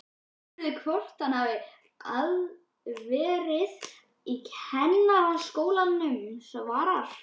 Aðspurður hvort hann hafi verið í Kennaraskólanum svarar